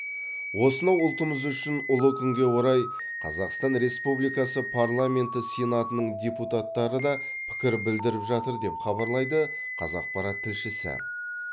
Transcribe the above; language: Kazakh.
осынау ұлтымыз үшін ұлы күнге орай қазақстан республикасы парламенті сенатының депутаттары да пікір білдіріп жатыр деп хабарлайды қазақпарат тілшісі